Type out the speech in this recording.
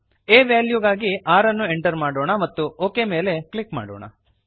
a ವೆಲ್ಯೂಗಾಗಿ 6 ಅನ್ನು enter ಮಾಡೋಣ ಮತ್ತು ಒಕ್ ಮೇಲೆ ಕ್ಲಿಕ್ ಮಾಡೋಣ